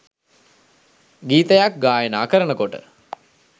ගීතයක් ගායනා කරනකොට